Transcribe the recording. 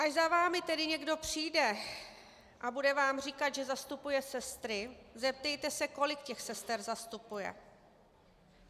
Až za vámi tedy někdo přijde a bude vám říkat, že zastupuje sestry, zeptejte se, kolik těch sester zastupuje.